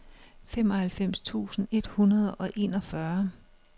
femoghalvfems tusind et hundrede og enogfyrre